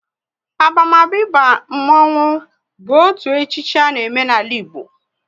Abamaba ịba mmonwu bụ otu echichi a na eme n'ala Igbo